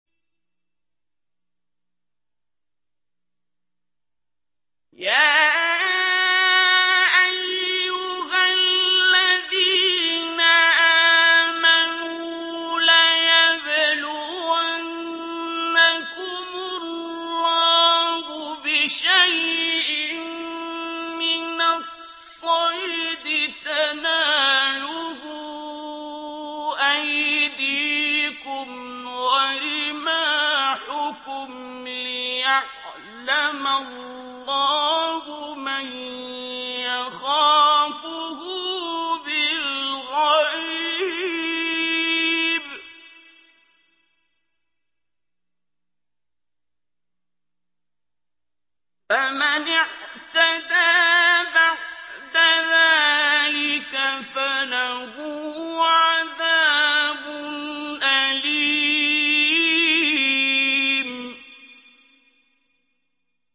يَا أَيُّهَا الَّذِينَ آمَنُوا لَيَبْلُوَنَّكُمُ اللَّهُ بِشَيْءٍ مِّنَ الصَّيْدِ تَنَالُهُ أَيْدِيكُمْ وَرِمَاحُكُمْ لِيَعْلَمَ اللَّهُ مَن يَخَافُهُ بِالْغَيْبِ ۚ فَمَنِ اعْتَدَىٰ بَعْدَ ذَٰلِكَ فَلَهُ عَذَابٌ أَلِيمٌ